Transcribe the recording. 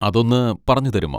അതൊന്ന് പറഞ്ഞുതരുമോ?